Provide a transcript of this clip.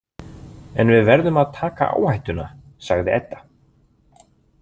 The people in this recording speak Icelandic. En við verðum að taka áhættuna, sagði Edda.